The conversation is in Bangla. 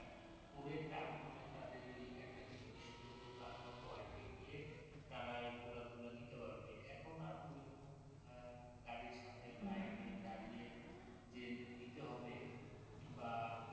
করে তারপরে তাদের ওই একটা নির্দিষ্ট দোকান বা পয়েন্ট এ গিয়ে তারা এই প্রোডাক্ট গুলা নিতে পারবে এখন আর ঐরকম আর গাড়ির সামনে লাইন দাঁড়িয়ে যে নিতে হবে বা